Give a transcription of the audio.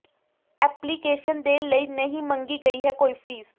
application ਦੇ ਲਈ ਨਹੀਂ ਮੰਗੀ ਗਈ ਹੈ ਕੋਈ ਫ਼ੀਸ